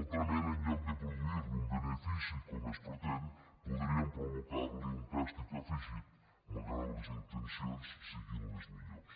altrament en lloc de produir li un benefici com es pretén podríem provocar li un càstig afegit malgrat que les intencions siguin les millors